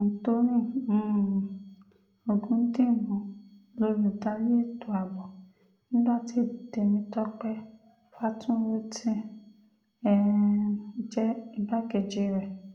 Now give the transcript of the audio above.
anthony um ọ̀gùdímù lólùdarí ètò ààbò nígbà tí tèmítọ́pẹ́ faturoti um jẹ́ igbákejì rẹ̀